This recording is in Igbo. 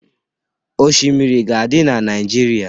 Oshimiri ga-adị na Naịjirịa.